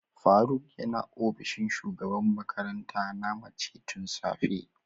Faruk yana opishin shugaban makaranta na mace tun safe.